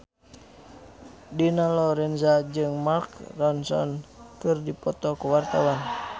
Dina Lorenza jeung Mark Ronson keur dipoto ku wartawan